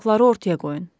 Faktları ortaya qoyun.